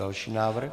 Další návrh.